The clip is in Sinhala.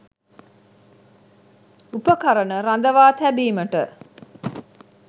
උපකරණ රඳවා තැබීමට